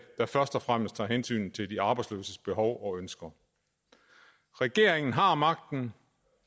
der først og fremmest tager hensyn til de arbejdsløses behov og ønsker regeringen har magten